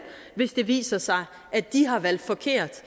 hvis det viser sig at de har valgt forkert